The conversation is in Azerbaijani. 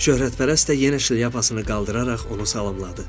Şöhrətpərəst də yenə şlyapasını qaldıraraq onu salamladı.